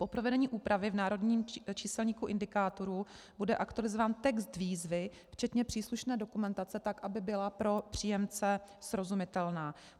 Po provedení úpravy v národním číselníku indikátorů bude aktualizován text výzvy včetně příslušné dokumentace tak, aby byla pro příjemce srozumitelná.